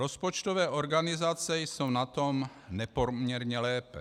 Rozpočtové organizace jsou na tom nepoměrně lépe.